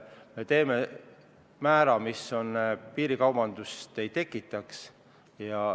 Me kehtestame määra, mis piirikaubandust ei tekitaks.